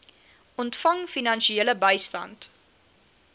ontvang finansiële bystand